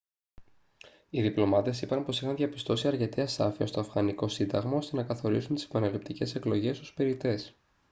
οι διπλωμάτες είπαν πως είχαν διαπιστώσει αρκετή ασάφεια στο αφγανικό σύνταγμα ώστε να καθορίσουν τις επαναληπτικές εκλογές ως περιττές